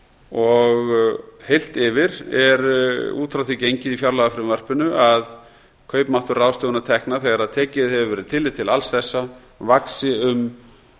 og heilt yfir er út frá því gengið í fjárlagafrumvarpinu að kaupmáttur ráðstöfunartekna þegar tekið hefur verið tillit til alls þessa vaxi um